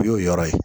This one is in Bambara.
U y'o yɔrɔ ye